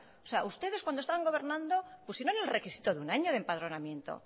o sea ustedes cuando estaban gobernando pusieron el requisito de un año de empadronamiento